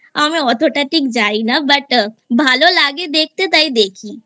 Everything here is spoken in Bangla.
আমি অতটা ঠিক জানি না But ভালো লাগে দেখতে তাই দেখি